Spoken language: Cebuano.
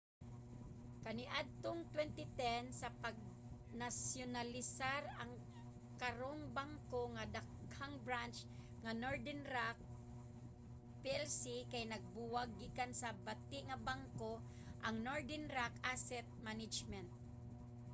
kaniadtong 2010 sa pagnasyonalisar ang karong bangko nga daghang branch nga northern rock plc kay nabuwag gikan sa 'bati nga bangko' ang northern rock asset management